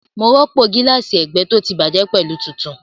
Mo rọ́pò gíláàsì ẹgbẹ́ tó ti bàjẹ́ pẹ̀lú tuntun